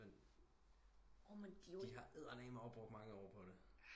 Men de har eddermame også bruge mange år på det